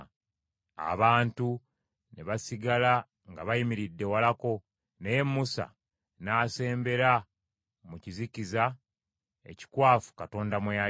Abantu ne basigala nga bayimiridde walako, naye Musa n’asembera mu kizikiza ekikwafu Katonda mwe yali.